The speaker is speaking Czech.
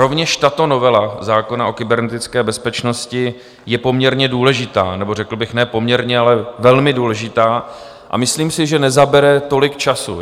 Rovněž tato novela zákona o kybernetické bezpečnosti je poměrně důležitá, nebo řekl bych ne poměrně, ale velmi důležitá, a myslím si, že nezabere tolik času.